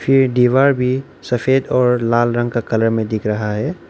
ये दीवार भी सफेद और लाल रंग का कलर में दिख रहा है।